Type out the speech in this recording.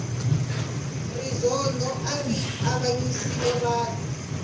rizondho ari avanyisile vanhu